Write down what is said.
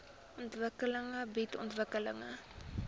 ontwikkeling bied ontwikkeling